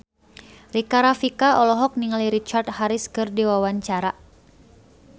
Rika Rafika olohok ningali Richard Harris keur diwawancara